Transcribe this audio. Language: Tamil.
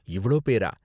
இவ்ளோ பேரா?